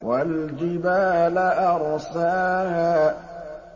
وَالْجِبَالَ أَرْسَاهَا